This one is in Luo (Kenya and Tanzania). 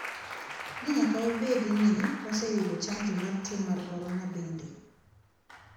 Ne nyaka wabedi ni waseyudo chanjo mar tuo mar korona bende.